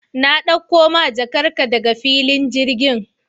Na ɗakko ma jakar ka daga filin girgin